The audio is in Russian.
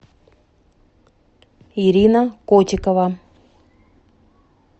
ирина котикова